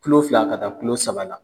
Kula fila ka taa kulo saba la